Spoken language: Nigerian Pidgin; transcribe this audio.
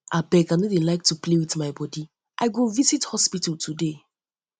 abeg i no dey like to play with my body i go um visit um hospital today